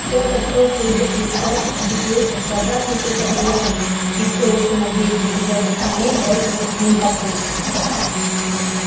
тот отбросил её плечом убедился что обратный путь отрезан и все ещё надеясь добежать до саней бросился к ним по кругу